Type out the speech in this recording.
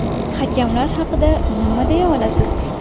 Hakamlar haqida nima deya olasiz?